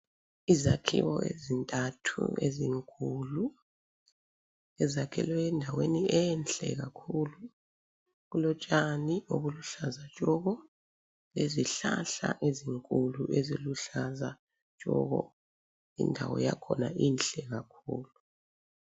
Izakhiwo ezintathu ezinkulu ezakhelwe endaweni enhle kakhulu, kulotshani obuluhlaza tshoko lezihlahla ezinkulu eziluhlaza tshoko. Indawo yakhona inhle kakhulu.